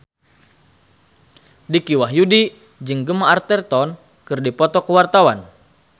Dicky Wahyudi jeung Gemma Arterton keur dipoto ku wartawan